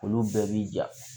Olu bɛɛ b'i ja